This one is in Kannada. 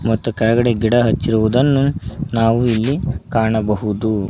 ಮತ್ತು ಕೆಳಗಡೆ ಗಿಡ ಹಚ್ಚಿರುವುದನ್ನು ನಾವು ಇಲ್ಲಿ ಕಾಣಬಹುದು.